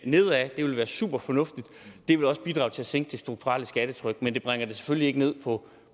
nedad og det vil være superfornuftigt det vil også bidrage til at sænke det strukturelle skattetryk men det bringer det selvfølgelig ikke ned på